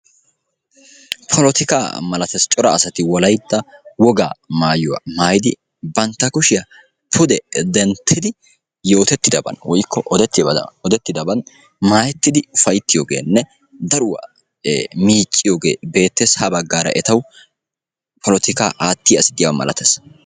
polotika malatees :cora asati Wolaytta woga maayuwaa maayidi bantta kushiyaa pude denttidi yootetidaban woykko odettidaban maayettidi ufayttiyoogenne daruwa miicciyooge bettees; ha baggara etaw polotikaa aattiya asi diyaaba malatees.